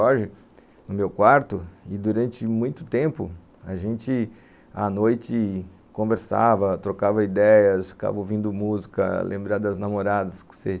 Hoje, no meu quarto, e durante muito tempo, a gente, à noite, conversava, trocava ideias, ficava ouvindo música, lembrava das namoradas que você